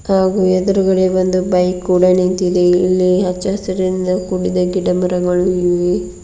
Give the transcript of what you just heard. ಹಾಗು ಎದುರುಗಡೆ ಒಂದು ಬೈಕ್ ಕೂಡ ನಿಂತಿದೆ ಇಲ್ಲಿ ಹಚ್ಚ ಹಸಿರಿನಿಂದ ಕುಡಿದ ಗಿಡ ಮರಗಳು ಇವೆ.